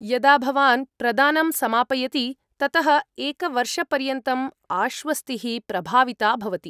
यदा भवान् प्रदानं समापयति, ततः एकवर्षपर्यन्तम् आश्वस्तिः प्रभाविता भवति।